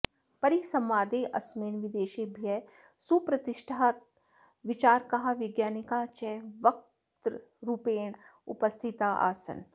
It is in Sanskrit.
परिसंवादेऽस्मिन् विदेशेभ्यः सुप्रतिष्ठिताः विचारकाः वैज्ञानिकाः च वक्तृरूपेण उपस्थिताः आसन्